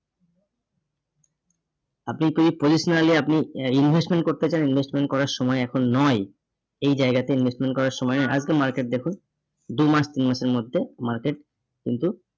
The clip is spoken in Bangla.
আপনি পে positionally এ আপনি investment করতে চান, investment করার সময় এখন নয়। এই জায়গাতে investment করার সময় এখন market দেখুন, দুমাস তিনমাসের মধ্যে market কিন্তু